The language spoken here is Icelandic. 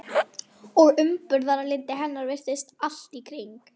Og umburðarlyndi hennar virðist allt í kring.